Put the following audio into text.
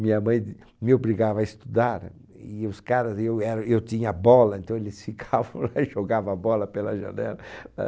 Minha mãe me obrigava a estudar e os caras... E eu era eu tinha bola, então eles ficavam lá e jogavam a bola pela janela.